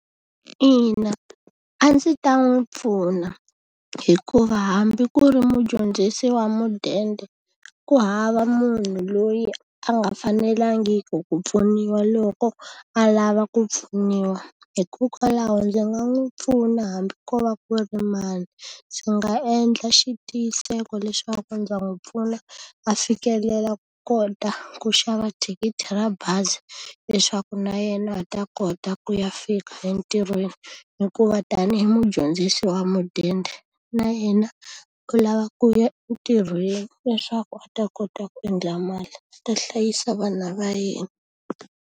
Ina, a ndzi ta n'wi pfuna, hikuva hambi ku ri mudyondzisi wa mudende ku hava munhu loyi a nga fanelangiku ku pfuniwa loko a lava ku pfuniwa. Hikokwalaho ndzi nga n'wu pfuna hambi ko va ku ri mani. Ndzi nga endla xitiyiseko leswaku ndza n'wi pfuna a fikelela ku kota ku xava thikithi ra bazi, leswaku na yena a kota ku ya fika entirhweni. Hikuva tanihi mudyondzisi wa mudende, na yena u lava ku ya entirhweni leswaku a ta kota ku endla mali, a ta hlayisa vana va yena.